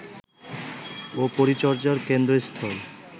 ও পরিচর্যার কেন্দ্রস্থল